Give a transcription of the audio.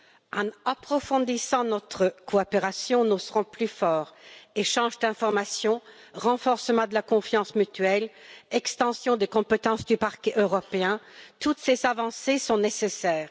En approfondissant notre coopération, nous serons plus forts échange d'informations, renforcement de la confiance mutuelle, extension des compétences du Parquet européen, toutes ces avancées sont nécessaires.